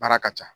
Baara ka ca